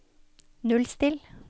nullstill